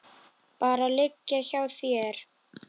Bara liggja hjá þér.